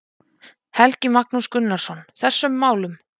Helgi Magnús Gunnarsson: Þessum málum?